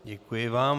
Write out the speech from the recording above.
Děkuji vám.